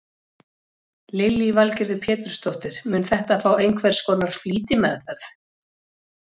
Lillý Valgerður Pétursdóttir: Mun þetta fá einhvers konar flýtimeðferð?